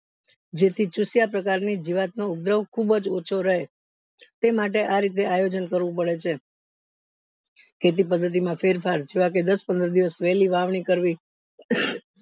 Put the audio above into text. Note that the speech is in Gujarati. જે થી ચૂસ્યા પ્રકારની જીવતું નો ઉગ્રહ ખુબજ ઓછો રેય તે માટે આ રીતે આયોજન કરવું પડે છે ખેતી પદ્ધતિ માં ફેર ફાર જેવાકે દસ પંદર દિવસ વેલી વાવની કરવી